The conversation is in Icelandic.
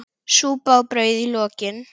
Súpa og brauð í lokin.